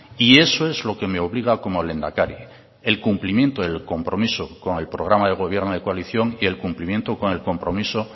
y eso es lo que me obliga como lehendakari el cumplimiento del compromiso con el programa de gobierno de coalición y el cumplimiento con el compromiso